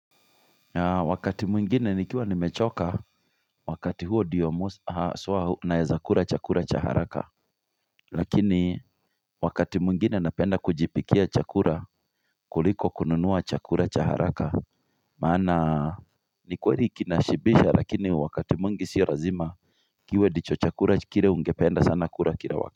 Wakati mwingine nikiwa nimechoka wakati huo ndiyo haswa naezakura chakura cha haraka lakini wakati mwingine napenda kujipikia chakura kuliko kununua chakura cha haraka maana ni kweli kinashibisha lakini wakati mwingi sio razima kiwe ndicho chakura kire ungependa sana kura kila wakati.